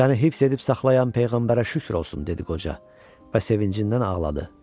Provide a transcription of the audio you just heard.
Səni hifz edib saxlayan peyğəmbərə şükür olsun dedi qoca və sevincindən ağladı.